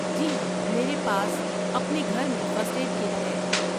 جی ہاں، میرے پاس اپنے گھر میں فرسٹ ایڈ کٹ ہے۔